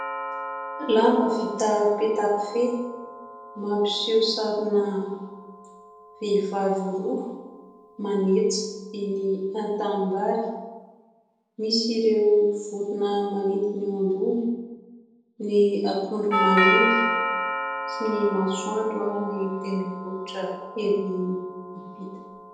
Lamba vita petakofehy mampiseho sarina vehivavy roa manetsa eny an-tanimbary. Misy ireo vorona manidina eo ambony, ny akondro maniry sy ny masoandro ary ny tendrombohitra ery ampita.